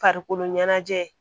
Farikolo ɲɛnajɛ